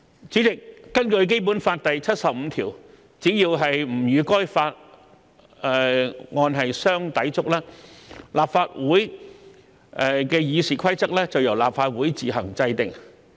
主席，根據《基本法》第七十五條，只要不與該法相抵觸，立法會《議事規則》由立法會自行制定。